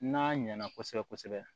N'a ɲɛna kosɛbɛ kosɛbɛ